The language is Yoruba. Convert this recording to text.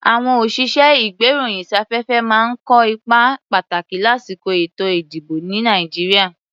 À̀wọn òṣìṣẹ́-ìgbéròyìnsáfẹ́fẹ́ máa ń kó ipa pàtàkì lásìkò èto-ìdìbò, ní Nàìjíríà.